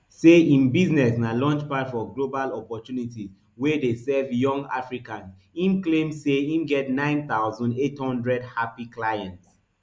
say im business na launchpad for global opportunities wey dey serve young africans im claim say im get nine thousand, eight hundred happy clients